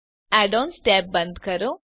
add ons tab બંધ કરો